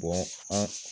an